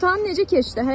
İmtahan necə keçdi?